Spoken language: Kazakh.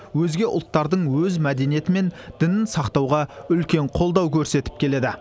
өзге ұлттардың өз мәдениеті мен дінін сақтауға үлкен қолдау көрсетіп келеді